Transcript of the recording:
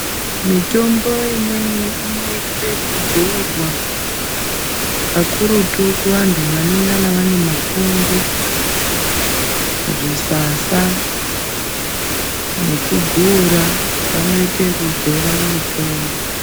Mitombo imweni inoitwa ekudzurwa kakurutu kuvantu vanengana vane mapundu zvisasa nekugura vanoita ikudzora mitombo.